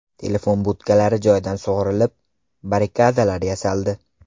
Telefon budkalari joyidan sug‘urilib, barrikadalar yasaldi.